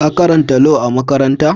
Ka karanta Lau a'makaranta?